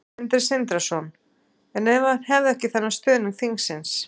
Sindri Sindrason: En ef hann hefði ekki þennan stuðning þingsins?